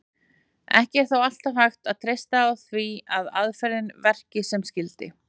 Ekki er þó alltaf hægt að treysta því að aðferðin verki sem skyldi.